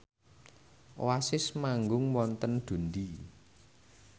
Oasis manggung wonten Dundee